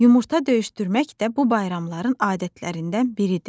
Yumurta döyüşdürmək də bu bayramların adətlərindən biridir.